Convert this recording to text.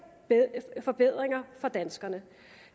forbedringer for danskerne